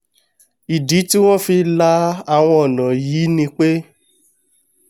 ìdí tí wọ́n fi la àwọn ọ̀nà wọ̀nyìí ni pé